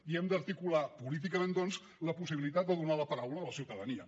i hem d’articular políticament doncs la possibilitat de donar la paraula a la ciutadania